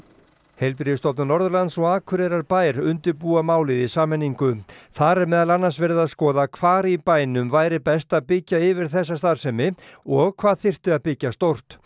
heilbrigðisstofnun Norðurlands og Akureyrarbær undirbúa málið í sameiningu þar er meðal annars verið að skoða hvar í bænum væri best að byggja yfir þessa starfsemi og hvað þyrfti að byggja stórt